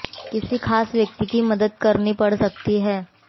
किसी खास व्यक्ति की मदद करनी पड़ सकती है